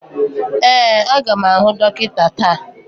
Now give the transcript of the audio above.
Ee, a ga m ahụ dọkịta taa